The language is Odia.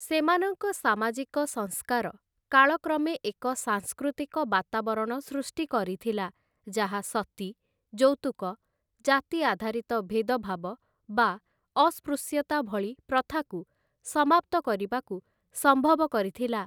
ସେମାନଙ୍କ ସାମାଜିକ ସଂସ୍କାର କାଳକ୍ରମେ ଏକ ସାଂସ୍କୃତିକ ବାତାବରଣ ସୃଷ୍ଟି କରିଥିଲା, ଯାହା ସତୀ, ଯୌତୁକ, ଜାତି ଆଧାରିତ ଭେଦଭାବ ବା ଅସ୍ପୃଶ୍ୟତା ଭଳି ପ୍ରଥାକୁ ସମାପ୍ତ କରିବାକୁ ସମ୍ଭବ କରିଥିଲା ।